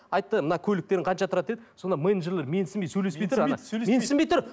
айтты мына көліктерің қанша тұрады деді сонда менеджерлер менсінбей сөйлеспей тұр менсінбей тұр